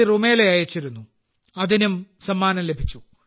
റുമേല അയച്ചിരുന്നു അതിനും സമ്മാനം ലഭിച്ചു